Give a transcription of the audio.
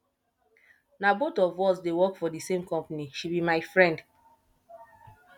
na both of us dey work for the same company she be my friend